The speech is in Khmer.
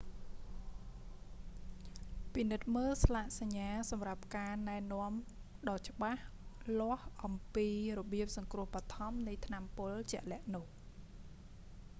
ពិនិត្យមើលស្លាកសញ្ញាសម្រាប់ការណែនាំដ៏ច្បាស់លាស់អំពីរបៀបសង្រ្គោះបឋមរនៃថ្នាំពុលជាក់លាក់នោះ